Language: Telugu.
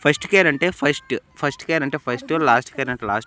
ఫస్ట్ కేర్ అంటే ఫస్ట్ ఫస్ట్ కేర్ అంటే ఫస్ట్ లాస్ట్ కేర్ అంటే లాస్ట్ --